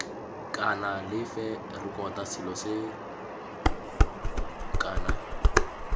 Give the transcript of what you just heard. kana lefe rekota selo kana